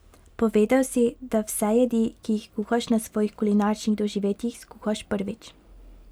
Povedal si, da vse jedi, ki jih kuhaš na svojih kulinaričnih doživetjih, skuhaš prvič.